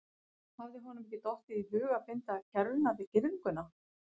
Hafði honum ekki dottið í hug að binda kerruna við girðinguna?